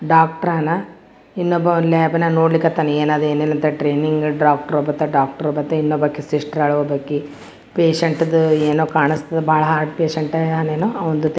Doctor ಲ ಇಲ್ಲೊಬ್ಬ lab ನ ನೋಡ್ಲಿಕತ್ತನ್ ಏನ್ ಅದ್ ಏನ್ ಇಲ್ಲಾ ಅಂತ ಟ್ರೇನಿಂಗ ಡಾಕ್ಟರ್ ಬತ್ತ್ ಡಾಕ್ಟರ್ ಬತ್ತ್ ಇನ್ನೊಬಾಕಿ ಸಿಸ್ಟೆರ್ ಆಳ್ ಒಬ್ಬಕಿ ಪೇಶಂಟ್ ದು ಏನೋ ಕಾಣ್ಸ್ ತ್ತದ್ ಬಹಳ್ ಹಾರ್ಟ್ ಪೇಶಂಟ್ ಏನೋ .]